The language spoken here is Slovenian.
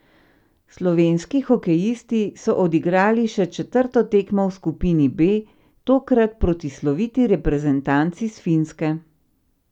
Slovenski hokejisti so odigrali še četrto tekmo v skupini B, tokrat proti sloviti reprezentanci s Finske.